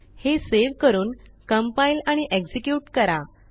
हे सेव्ह करूनcompile आणि एक्झिक्युट करा